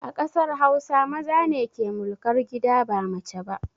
A ƙasar hausa, maza ne ke mulkar gida ba mace ba